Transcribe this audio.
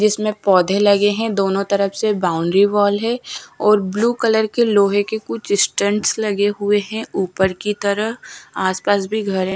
इसमें पौधे लगे हैं दोनों तरफ से बाउंड्री वॉल है और ब्लू कलर के लोहे के कुछ स्टैंड्स लगे हुए हैं ऊपर की तरह आस पास भी घर है।